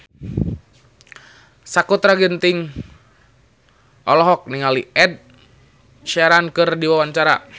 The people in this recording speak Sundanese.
Sakutra Ginting olohok ningali Ed Sheeran keur diwawancara